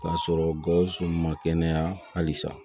K'a sɔrɔ gawsu ma kɛnɛya halisa